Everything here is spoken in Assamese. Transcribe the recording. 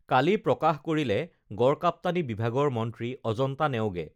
কালি প্ৰকাশ কৰিলে গড়কাপ্তানী বিভাগৰ মন্ত্ৰী অজন্তা নেওগে